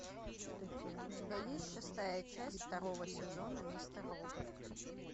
у тебя есть шестая часть второго сезона мистер робот